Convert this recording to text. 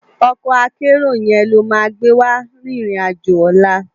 Òkò àkèéró yèn ló má gbéwá ririn àjó òlá